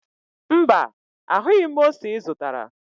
Mba, ahụghị m ose ị zụtara